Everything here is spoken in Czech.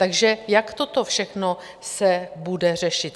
Takže jak toto všechno se bude řešit?